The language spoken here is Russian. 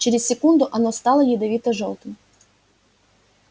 через секунду оно стало ядовито-жёлтым